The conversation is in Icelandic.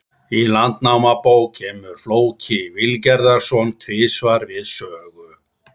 Í Landnámabók kemur Flóki Vilgerðarson tvisvar við sögu.